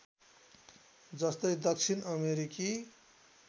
जस्तै दक्षिण अमेरिकी